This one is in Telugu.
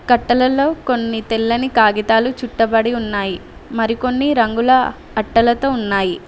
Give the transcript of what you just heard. కట్టలలో కొన్ని తెల్లని కాగితాలు చుట్టబడి ఉన్నాయి మరికొన్ని రంగుల అట్టలతో ఉన్నాయి.